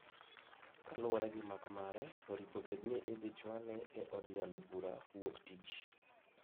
Kalure gi mak mare, oripo bed ni idhi chwale e od yalo bura woktich.